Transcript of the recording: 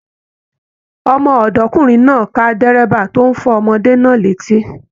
Ọmọ-ọdọkunrin náà ká dírẹ́bà tó n fọ ọmọdé náà létí.